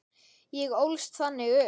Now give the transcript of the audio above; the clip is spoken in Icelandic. Ég ólst þannig upp.